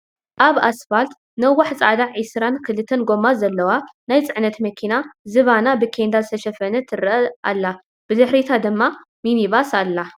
አብ አስፋልት ነዋሕ ፃዕዳ ዒስራን ክልተን ጎማ ዘለዋ ናይ ፅዕነት መኪና ዝባና ብኬንዳ ዝተሸፈነት ትረአ አላ ፡፡ ብድሕሪታ ድማ ምኒባስ አላ፡፡